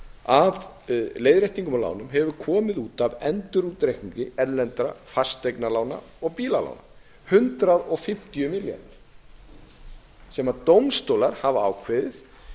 af leiðréttingum og lánum hefur komið út af endurútreikningi erlendra fasteignalána og bílalána hundrað fimmtíu milljarðar sem dómstólar hafa ákveðið